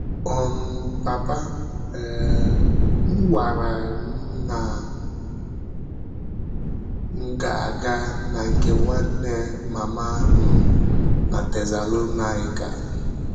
um Pàpà um m gwàrà m na m gà-aga na nke nwanne màmá m na Tesalọnaịka.